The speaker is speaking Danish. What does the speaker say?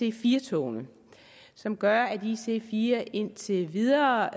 ic4 togene som gør at ic4 togene indtil videre